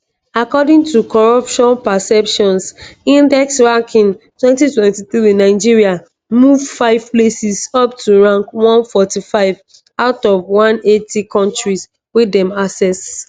according to corruption perceptions index ranking 2023 nigeria move five places up to rank 145 out of 180 kontris wey dem assess.